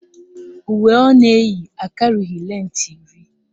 Uwe ọ na-eyi akarịghị lentị iri